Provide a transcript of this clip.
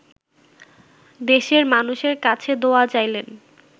দেশের মানুষের কাছে দোয়া চাইলেন